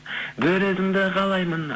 бір өзіңді қалаймын